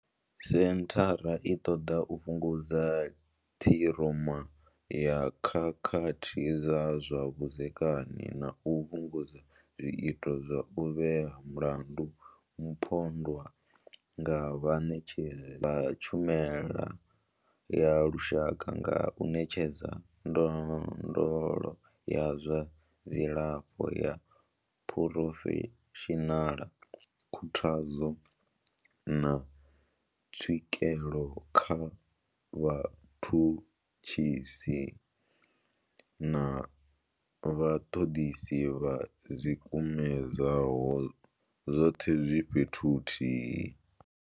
Senthara i ṱoḓa u fhungudza ṱhiroma ya khakhathi dza zwa vhudzekani na u fhungudza zwiito zwa u vhea mulandu mupondwa nga vhaṋetshedzi vha tshumelo ya lushaka nga u ṋetshedza ndondolo ya zwa dzilafho ya phurofeshinala, khuthadzo, na tswikelo kha vhatshutshisi na vhaṱoḓisi vho ḓikumedzaho, zwoṱhe zwi fhethu huthihi.